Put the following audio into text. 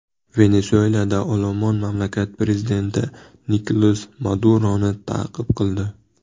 Venesuelada olomon mamlakat prezidenti Nikolas Maduroni ta’qib qildi.